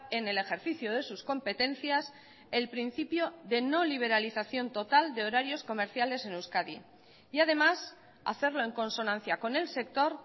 en el ejercicio de sus competencias el principio de no liberalización total de horarios comerciales en euskadi y además hacerlo en consonancia con el sector